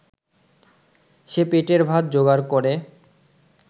সে পেটের ভাত যোগাড় করে